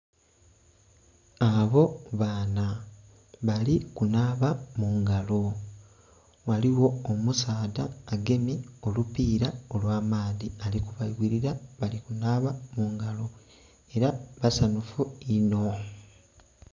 Abo baana bali kunaba mungalo ghaligho omusaadha agemye olupira olwamaadhi ali kubayuwirira balikuba mungalo era basanhufu inho.